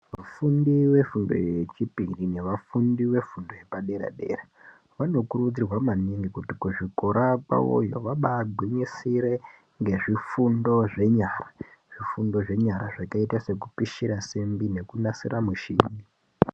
Vafundi vefundo yechipiri nevafundi vefundo yepadera dera vanokurudzirwa maningi kuti kuzvikora kwavoyo vabagwinyisire ngezvifundo zvenyara zvifundo zvakaita sekupisira simba sekunasira mishina.